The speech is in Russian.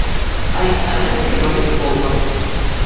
александр петрович волков